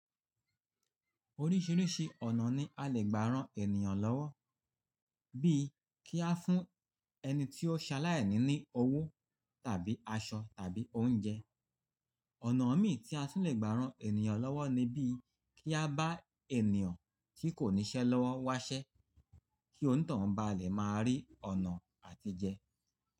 Oríṣìíríṣìí ọ̀nà ni a lè gbà rán ènìyàn lọ́wọ́, bíi kí a fún ẹni tí ó ṣe aláìní ní owó tàbí aṣọ tàbí oúnjẹ. Ọ̀nà míì tí a tún lè gbà rán ènìyàn lọ́wọ́ ni bí kí a bá ènìyàn tí kò níṣẹ́ lọ́wọ́ wáṣẹ́ kí ó ni toun bá à lè máa rí ọ̀nà àtijẹ.